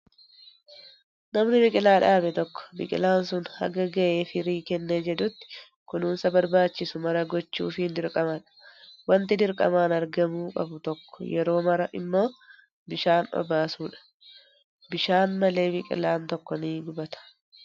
Namni biqilaa dhaabe tokko biqilaan sun haga gahee firii kennee jedhutti kunuunsa barbaachisu maraa gochuufiin dirqamadha. Wanti dirqamaan argamuu qabu tokko yeroo maraa immoo bishaan obaasuudha. Bishaan malee biqilaan tokko ni gubata.